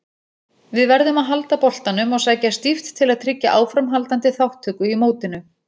Við verðum að halda boltanum og sækja stíft til að tryggja áframhaldandi þátttöku í mótinu.